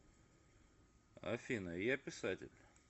афина я писатель